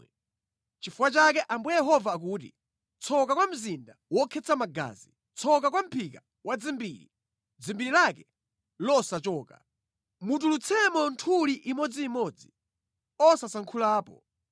“ ‘Nʼchifukwa chake, Ambuye Yehova akuti, “ ‘Tsoka kwa mzinda wokhetsa magazi, tsoka kwa mʼphika wadzimbiri; dzimbiri lake losachoka! Mutulutsemo nthuli imodzimodzi osasankhulapo.